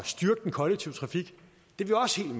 styrke den kollektive trafik